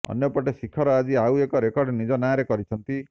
ଅନ୍ୟପଟେ ଶିଖର ଆଜି ଆଉ ଏକ ରେକର୍ଡ ନିଜ ନାଁରେ କରିଛିନ୍ତି